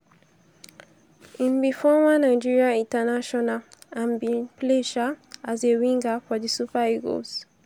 im be former nigeria international and bin play um as a winger for di super eagles.